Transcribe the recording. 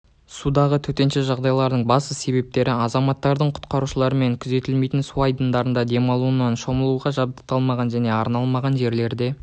судағы төтенше жағдайлардың басты себептері азаматтардың құтқарушылармен күзетілмейтін су айдындарында демалуынан шомылуға жабдықталмаған және арналмаған жерлерде